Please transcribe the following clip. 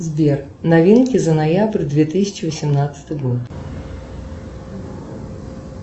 сбер новинки за ноябрь две тысячи восемнадцатый год